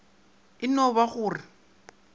e no ba go re